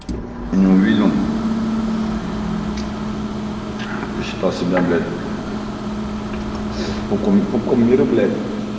не увидел посчитал себя блять пупком пупком мира блять